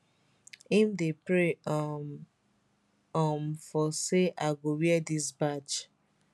im dey pray um um for say i go wear dis badge